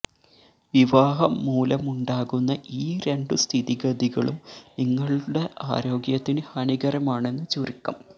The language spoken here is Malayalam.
വിവാഹം മൂലമുണ്ടാകുന്ന ഈ രണ്ടു സ്ഥിതിഗതികളും നിങ്ങളുടെ ആരോഗ്യത്തിന് ഹാനികരമാണെന്ന് ചുരുക്കം